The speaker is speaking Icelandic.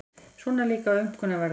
Svona líka aumkunarverða.